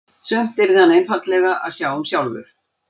Sumt yrði hann einfaldlega að sjá um sjálfur.